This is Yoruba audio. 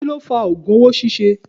Kí ló fa ogùn owó ṣíṣe?